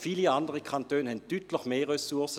Viele andere Kantone haben deutlich mehr Ressourcen.